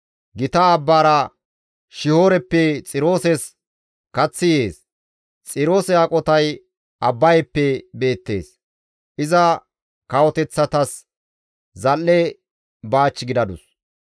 Gita abbaara Shihooreppe Xirooses kaththi yees; Xiroose aqotay Abbayeppe beettees; iza kawoteththatas zal7e baach gidadus.